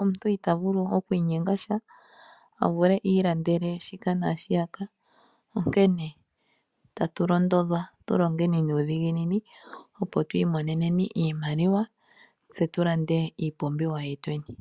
omuntu ita vulu okwiinyenga sha a vule iilandele shika naashiyaka. Onkene tatu londodhwa tu longeni nuudhiginini opo twiimoneneni iimaliwa tse tu lande iipumbiwa yetweni.